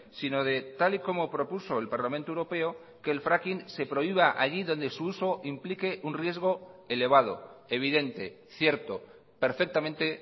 sino de tal y como propuso el parlamento europeo que el fraking se prohíba allí donde su uso implique un riesgo elevado evidente cierto perfectamente